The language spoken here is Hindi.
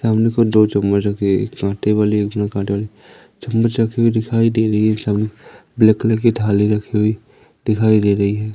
सामने की ओर दो चम्मच रखी हुई है एक कांटे वाली एक बिना कांटे वाली चम्मच रखी हुई दिखाई दे रही है सामने ब्लैक कलर की थाली रखी हुई दिखाई दे रही है।